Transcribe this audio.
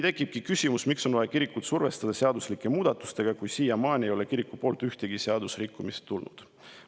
Tekib küsimus, miks on vaja kirikut survestada seadusemuudatustega, kui siiamaani ei ole kirikul ühtegi seadusrikkumist olnud.